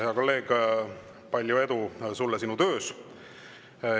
Hea kolleeg, palju edu sulle sinu töös!